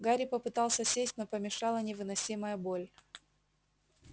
гарри попытался сесть но помешала невыносимая боль